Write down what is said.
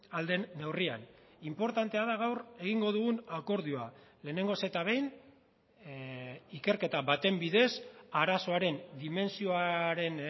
ahal den neurrian inportantea da gaur egingo dugun akordioa lehenengoz eta behin ikerketa baten bidez arazoaren dimentsioaren